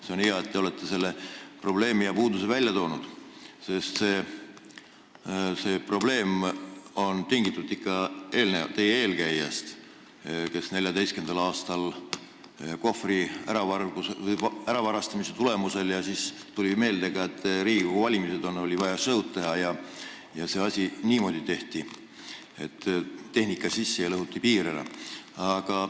See on hea, et te olete selle probleemi ja puuduse välja toonud, aga see probleem on tingitud ikka teie eelkäijast, kellel 2014. aastal, pärast Kohvri äravarastamist, tuli meelde, et Riigikogu valimised on tulemas, oli vaja show`d teha ja see asi tehti niimoodi, et tehnika viidi peale ja lõhuti piir ära.